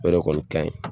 O de kɔni kaɲi